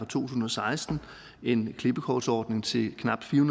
tusind og seksten en klippekortsordning til knap fire